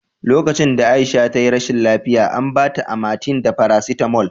Lokacin da Aisha ta yi rashin lafiya, an ba ta Amatem da farasitamol